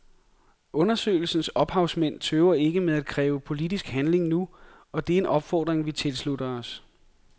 Undersøgelsens ophavsmænd tøver ikke med at kræve politisk handling nu, og det er en opfordring vi tilslutter os.